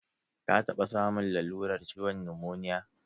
Ka taɓa samun lalurar ciwon numoniya?